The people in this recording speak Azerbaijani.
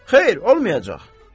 Xeyr, olmayacaq.